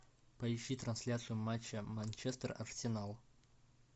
поищи трансляцию матча манчестер арсенал